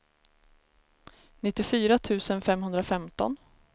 nittiofyra tusen femhundrafemton